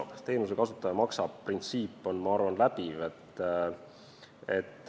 Printsiip "teenuse kasutaja maksab" on, ma arvan, läbiv.